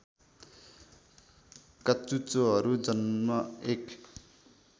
काचुच्चोहरु जन्म एक